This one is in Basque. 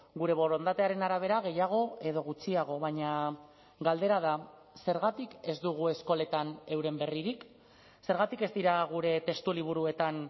gure borondatearen arabera gehiago edo gutxiago baina galdera da zergatik ez dugu eskoletan euren berririk zergatik ez dira gure testu liburuetan